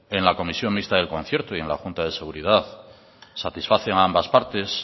en la comisión mixta del concierto y en la junta de seguridad satisface a ambas partes